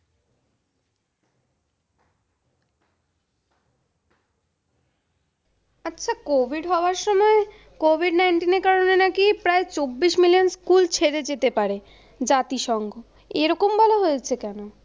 আচ্ছা, COVID হওয়ার সময় COVID-19 এর কারণে নাকি প্রায় চব্বিশ million স্কুল ছেড়ে যেতে পারে জাতিসংঘ। এরকম বলা হয়েছে কেনো?